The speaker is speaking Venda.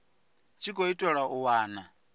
tshi khou itelwa u wana